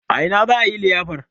A ina za a yi liyafar?